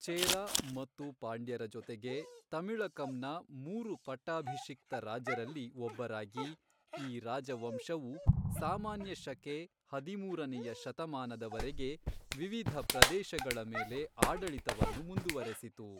ಚೇರ ಮತ್ತು ಪಾಂಡ್ಯರ ಜೊತೆಗೆ, ತಮಿಳಕಂನ ಮೂರು ಪಟ್ಟಾಭಿಷಿಕ್ತ ರಾಜರಲ್ಲಿ ಒಬ್ಬರಾಗಿ, ಈ ರಾಜವಂಶವು ಸಾಮಾನ್ಯ ಶಕೆ ಹದಿಮೂರನೇಯ ಶತಮಾನದವರೆಗೆ ವಿವಿಧ ಪ್ರದೇಶಗಳ ಮೇಲೆ ಆಡಳಿತವನ್ನು ಮುಂದುವರೆಸಿತು.